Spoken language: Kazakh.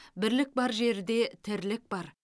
бірлік бар жерде тірлік бар